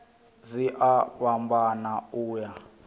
dzi a fhambana u ya